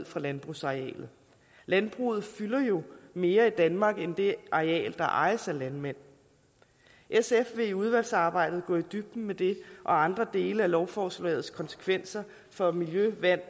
fra landbrugsarealet landbruget fylder jo mere i danmark end det areal der ejes af landmænd sf vil i udvalgsarbejdet gå i dybden med det og andre dele af lovforslagets konsekvenser for miljøet vandet